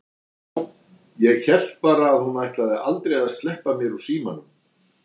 Já, ég hélt bara að hún ætlaði aldrei að sleppa mér úr símanum!